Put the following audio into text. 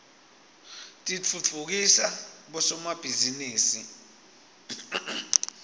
titfutfukisa bosomabhizinisi